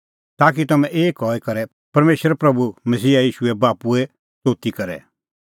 ताकि तम्हैं एक हई करै परमेशर प्रभू मसीहा ईशूए बाप्पूए स्तोती करे